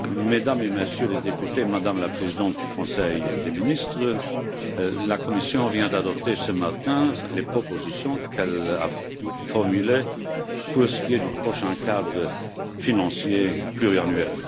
Mesdames et Messieurs les députés, Madame la présidente du Conseil des ministres, la Commission vient d'adopter ce matin les propositions qu'elle a formulées pour ce qui est du prochain cadre financier pluriannuel.